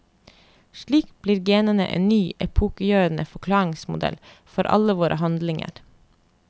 Slik blir genene en ny, epokegjørende forklaringsmodell for alle våre handlinger.